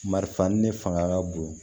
Marifa ni ne fanga ka bon